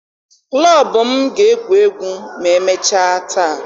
Klọb m ga-egwu egwu ma emechaa taa.